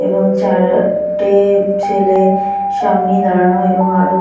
এবং চার-টে- ছেলে সামনেই দাঁড়ানো এবং আরও--